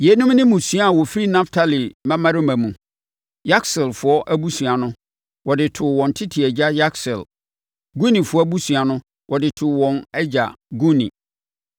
Yeinom ne mmusua a wɔfiri Naftali mmammarima mu. Yakseelfoɔ abusua no, wɔde too wɔn tete agya Yakseel. Gunifoɔ abusua no, wɔde too wɔn agya Guni.